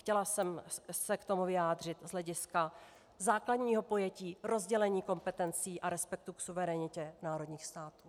Chtěla jsem se k tomu vyjádřit z hlediska základního pojetí rozdělení kompetencí a respektu k suverenitě národních států.